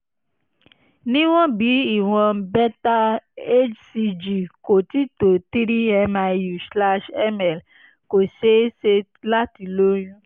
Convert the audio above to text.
níwọ̀n bí ìwọ̀n beta hcg kò ti tó 3 miu/ml kò ṣeé ṣe láti lóyún